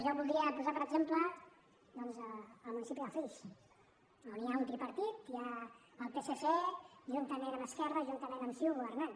jo voldria posar com a exemple el municipi de flix on hi ha un tripartit el psc juntament amb esquerra juntament amb ciu governant